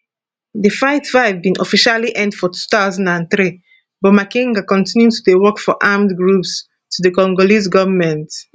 di fightfight bin officially end for 2003 but makenga continue to dey work for armed groups to di congolese goment